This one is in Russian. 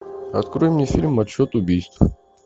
открой мне фильм отсчет убийств